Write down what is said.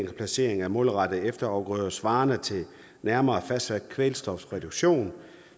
placering af målrettede efterafgrøder svarende til en nærmere fastsat kvælstofreduktion